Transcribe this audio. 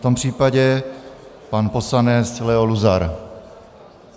V tom případě pan poslanec Leo Luzar.